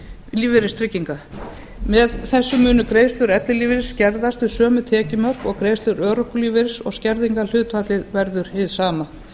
lífeyristrygginga með þessu munu greiðslur ellilífeyris skerðast við sömu tekjumörk og greiðslur örorkulífeyris og skerðingarhlutfallið verður hið sama